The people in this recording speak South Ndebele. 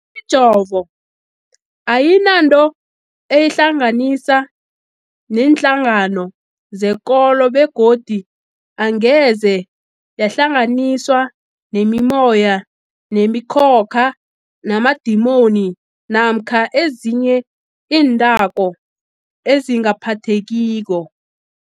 Imijovo ayinanto eyihlanganisa neenhlangano zekolo begodu angeze yahlanganiswa nemimoya, nemi khokha, namadimoni namkha ezinye iinthako ezingaphathekiko.